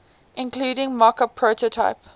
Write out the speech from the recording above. including mockup prototype